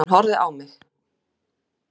Hún horfði á mig.